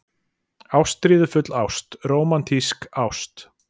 ÁSTRÍÐUFULL ÁST- RÓMANTÍSK ÁST